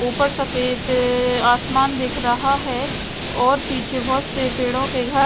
ऊपर सफ़ेद ए आसमान दिख रहा है और पीछे बहत से पेड़ो के घ--